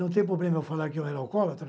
Não tem problema eu falar que eu era alcoólatra?